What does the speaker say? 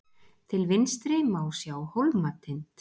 til vinstri má sjá hólmatind